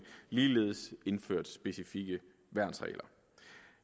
ligeledes indført specifikke værnsregler